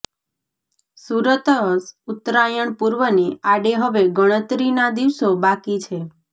સુરતઃ ઉત્તરાયણ પર્વને આડે હવે ગણતરીના દિવસો બાકી છે